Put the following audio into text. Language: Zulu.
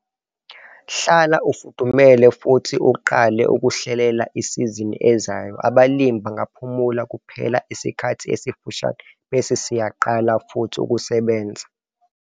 Hlala ufudumele futhi uqale ukuhlelela isizini ezayo - abalimi bangaphumula kuphela isikhathi esifushane bese siyaqala futhi ukusebenza.